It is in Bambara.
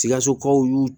Sikasokaw y'u